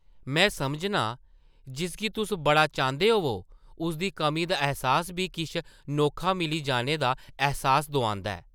में समझनां जिसगी तुस बड़ा चांह्दे होवो ,उसदी कमी दा ऐह्सास बी किश अनोखा मिली जाने दा ऐह्सास दोआंदा ऐ ।